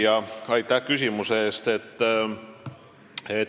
Hea küsija, aitäh küsimuse eest!